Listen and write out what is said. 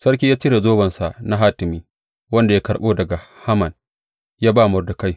Sarki ya cire zobensa na hatimi, wanda ya karɓo daga Haman ya ba Mordekai.